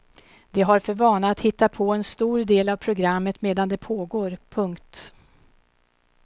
De har för vana att hitta på en stor del av programmet medan det pågår. punkt